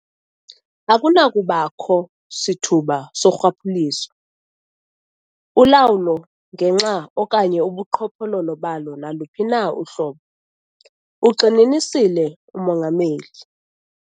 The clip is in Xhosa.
"Akunakubakho sithuba sorhwaphilizo, ulawulo ngenxa okanye ubuqhophololo balo naluphi na uhlobo," ugxininisile uMongameli.